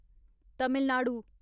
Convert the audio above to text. Tamil Nadu